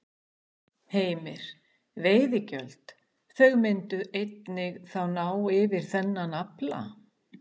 Heimir: Veiðigjöld, þau myndu einnig þá ná yfir þennan afla?